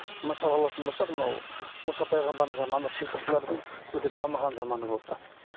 мысалы алатын болсақ мынау мұса пайғамбарымыздың заманы сиқыршылардың өте дамыған заманы болды да